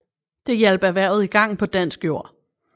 Det hjalp erhvervet i gang på dansk jord